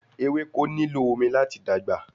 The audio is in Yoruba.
Ewéko nílò omi láti dàgbà